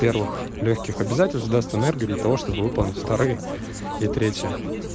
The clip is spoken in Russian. первых лёгких обязательств даст энергию для того чтобы выполнить вторые или третьи